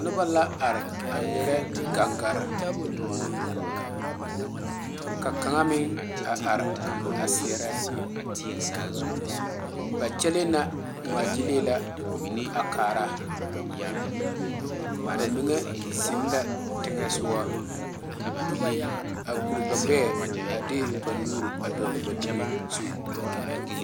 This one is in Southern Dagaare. Noba la are a ŋmeɛrɛ gaŋgaare ka kaŋa meŋ a are a seɛrɛ ba kyɛle na ŋmaa gyile la a kaara ba mine zeŋ la teŋa soga a gɔre ba gbeɛ a de ba nuure dogle ba domo zu.